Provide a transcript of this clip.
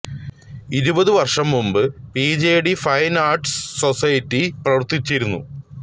ഇരുപതു വർഷം മുമ്പ് പിജെടി ഫൈൻ ആർട്സ് സൊസൈറ്റി പ്രവർത്തിച്ചിരുന്നു